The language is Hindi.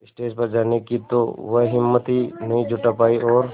स्टेज पर जाने की तो वह हिम्मत ही नहीं जुटा पाई और